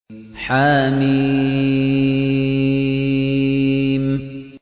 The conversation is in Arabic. حم